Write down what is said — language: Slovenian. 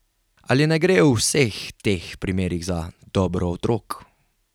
Ali ne gre v vseh teh primerih za dobro otrok?